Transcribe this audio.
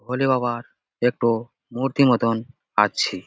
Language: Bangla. ভোলেবাবার একটো মূর্তি মতন আছে।